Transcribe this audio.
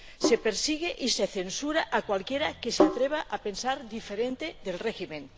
Se persigue y se censura a cualquiera que se atreva a pensar diferente del régimen.